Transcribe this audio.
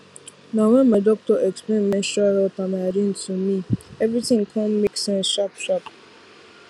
na when my doctor explain menstrual health and hygiene to me everything come make sense sharpsharp